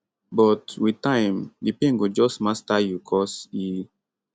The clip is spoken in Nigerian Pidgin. but wit time di pain go just master you cos e